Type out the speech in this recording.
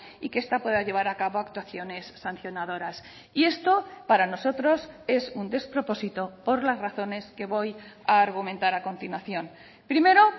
y que esta pueda llevar a cabo actuaciones sancionadoras y esto para nosotros es un despropósito por las razones que voy a argumentar a continuación primero